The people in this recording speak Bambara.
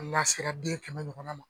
N'a sera den kɛmɛ ɲɔgɔnna ma.